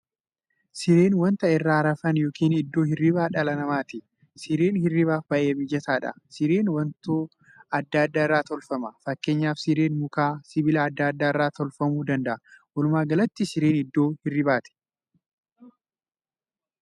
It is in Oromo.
Sireen wanta irra rafan yookiin iddoo hirriibaa dhala namaati. Sireen hirriibaaf baay'ee mijataadha. Sireen wantoo adda addaa irraa tolfama. Fakkeenyaf sireen muka, sibiila adda addaa irraa tolfamuu danda'a. Walumaa galatti sireen iddoo hirriibati.